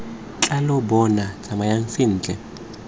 tla lo bona tsamayang sentle